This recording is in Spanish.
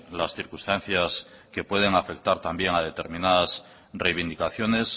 las circunstancias que pueden afectar también a determinadas reivindicaciones